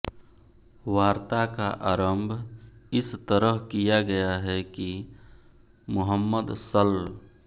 वार्ता का आरम्भ इस तरह किया गया है कि मुहम्मद सल्ल